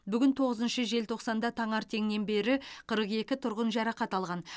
бүгін тоғызыншы желтоқсанда таңертеңнен бері қырық екі тұрғын жарақат алған